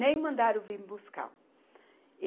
Nem mandaram vir buscar.